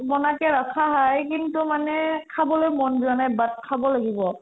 bana ke ৰাখা hai কিন্তু মানে খাবলৈ মন যোৱা নাই but খাব লাগিব